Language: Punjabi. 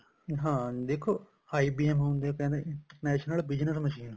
ਹਾਂ ਦੇਖੋ IBM ਹੁੰਦਾ ਕਹਿੰਦੇ international business machine